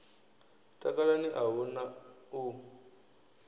takalani a hu na u